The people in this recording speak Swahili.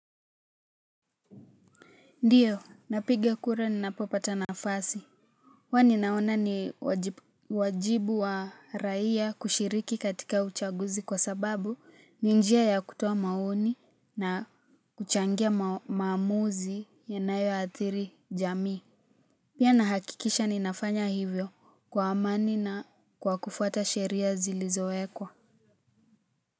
Ndiyo, napiga kura ninapopata nafasi. Kwani naona ni wajibu wa raia kushiriki katika uchaguzi kwa sababu ni njia ya kutuo maoni na kuchangia maamuzi yanayoathiri jamii. Pia nahakikisha ninafanya hivyo kwa amani na kwa kufuata sheria zilizowekwa.